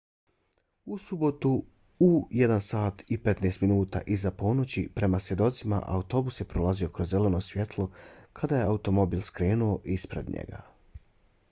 u subotu u 01:15 prema svjedocima autobus je prolazio kroz zeleno svjetlo kada je automobil skrenuo ispred njega